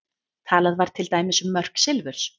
Talað var til dæmis um mörk silfurs.